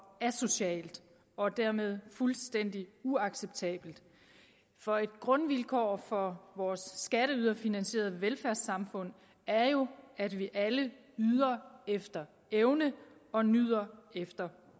asocialt og dermed fuldstændig uacceptabelt for et grundvilkår for vores skatteyderfinansierede velfærdssamfund er jo at vi alle yder efter evne og nyder efter